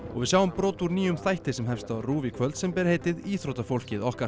við sjáum brot úr nýjum þætti sem hefst á RÚV í kvöld sem ber heitið íþróttafólkið okkar